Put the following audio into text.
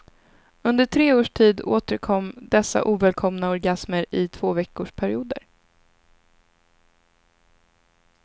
Under tre års tid återkom dessa ovälkomna orgasmer i tvåveckorsperioder.